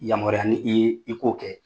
Yamaruya n' i ye i k'o kɛ